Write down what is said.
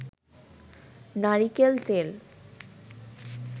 নারিকেল তেল